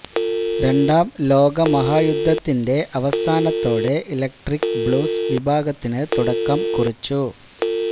രണ്ടാം ലോകമഹാ യുദ്ധത്തിന്റെ അവസാനത്തോടെ ഇലക്ട്രിക് ബ്ലൂസ് വിഭാഗത്തിന് തുടക്കം കുറിച്ചു